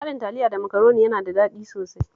Haɗin Taliya da Makaroni yana da daɗi sosai